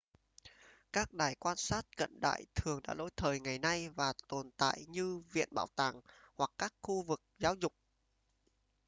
các đài quan sát cận đại thường đã lỗi thời ngày nay và tồn tại như viện bảo tàng hoặc các khu vực giáo dục